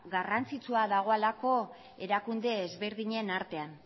garrantzitsua dago dagoelako erakunde ezberdinen artean